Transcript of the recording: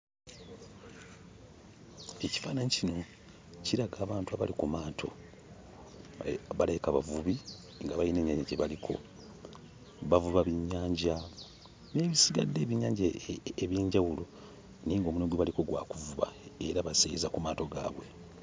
Ekifaananyi kino kiraga abantu abali ku maato, balabika bavubi nga bayina ennyanja gye baliko. Bavuba byennyanja n'ebisigadde, ebyennyanja eby'enjawulo naye ng'omulimu gwe baliko gwa kuvuba era baseeyeeyeza ku maato gaabwe.